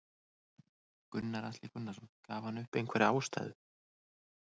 Gunnar Atli Gunnarsson: Gaf hann upp einhverja ástæðu?